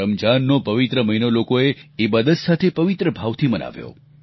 રમજાનનો પવિત્ર મહિનો લોકોએ ઈબાદત સાથે પવિત્ર ભાવથી મનાવ્યો